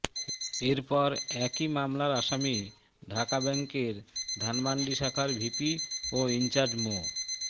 এরপর একই মামলার আসামি ঢাকা ব্যাংকের ধানমন্ডি শাখার ভিপি ও ইনচার্জ মো